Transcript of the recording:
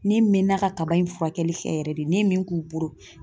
Ne mɛnna ka kaba in furakɛli kɛ yɛrɛ de, ne ye min k'u bolo